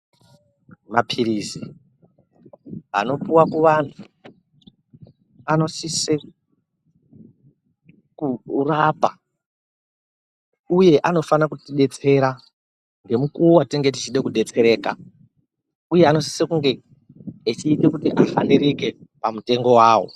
Mapirizi anopuwa kuvantu anosise kurapa uye anofanira kuti detsera ngemukuwo watinenge techida kudetsereka uye anosise kunge echiita kuti ahanirike pamitengo wawo.